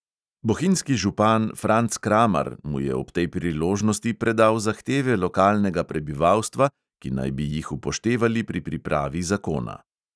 Bohinjski župan franc kramar mu je ob tej priložnosti predal zahteve lokalnega prebivalstva, ki naj bi jih upoštevali pri pripravi zakona.